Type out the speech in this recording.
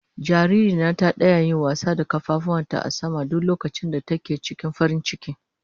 Jaririya na ta daya yi wasa da kafafuwan ta a sama duk lokacin da take cikin farin ciki.